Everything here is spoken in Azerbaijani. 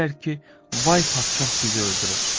Deyirlər ki, vay padşah bizi öldürər.